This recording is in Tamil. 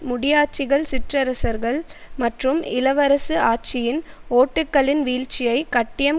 முடியாட்சிகள் சிற்றரசர்கள் மற்றும் இளவரசு ஆட்சியின் ஓட்டுக்களின் வீழ்ச்சியைக் கட்டியம்